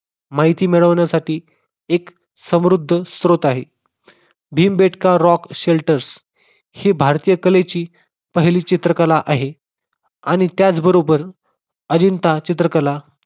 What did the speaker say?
माहिती मिळवण्यासाठी एक समृद्ध स्त्रोत आहे. भिंबेटका रॉक शेल्टरस ही भारतीय कलेची पहिली चित्रकला आहे आणि त्याचबरोबर अजिंठा चित्रकला